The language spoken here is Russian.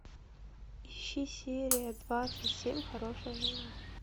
ищи серия двадцать семь хорошая жена